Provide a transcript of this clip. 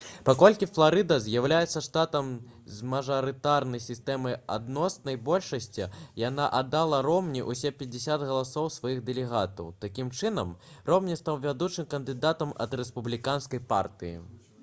паколькі фларыда з'яўляецца штатам з мажарытарнай сістэмай адноснай большасці яна аддала ромні ўсе пяцьдзесят галасоў сваіх дэлегатаў такім чынам ромні стаў вядучым кандыдатам ад рэспубліканскай партыі